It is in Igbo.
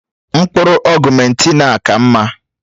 Mkpụrụ ọ̀guméntin a ka mma